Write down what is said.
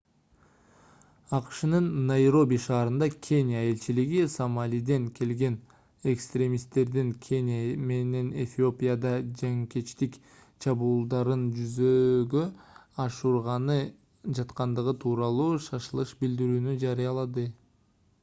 акшнын найроби ш. кения элчилиги сомалиден келген экстремисттердин кения менен эфиопияда жанкечтик чабуулдарын жүзөгө ашырганы жаткандыгы тууралуу шашылыш билдирүүнү жарыялады